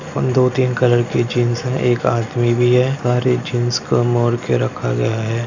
और दो-तीन कलर के जीन्स है एक आदमी भी है सारे जीन्स कम और के रखा गया है।